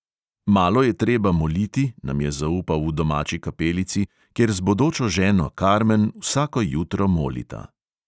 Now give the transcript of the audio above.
Malo je treba moliti, nam je zaupal v domači "kapelici", kjer z bodočo ženo karmen vsako jutro molita.